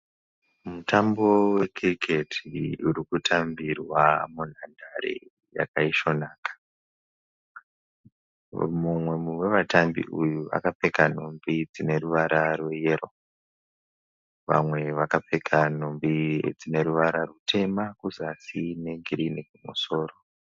Mutambo weCricket urikutambirwa munhandare yakaisvonaka. Mumwe wevatambi uyu akapfeka nhumbi dzine ruvara rweyero. Vamwe vakapfeka nhumbi dzine ruvara rutema kuzasi negirinhi kumusoro.